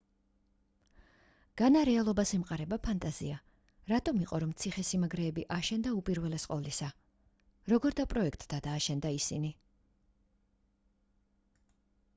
განა რეალობას ემყარება ფანტაზია რატომ იყო რომ ციხე-სიმაგრეები აშენდა უპირველეს ყოვლისა როგორ დაპროექტდა და აშენდა ისინი